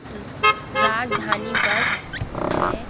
अ Rajdhani bus है।